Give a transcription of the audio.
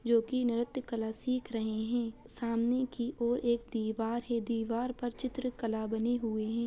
जो की नृत्य कला सिख रहे हैं सामने की और एक दीवार है दीवार पर चित्रकला बनी हुई है।